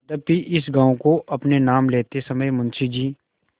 यद्यपि इस गॉँव को अपने नाम लेते समय मुंशी जी